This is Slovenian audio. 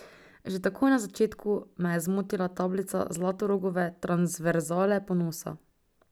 Že takoj na začetku me je zmotila tablica Zlatorogove transverzale ponosa.